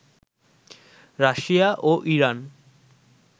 Russia ও Iran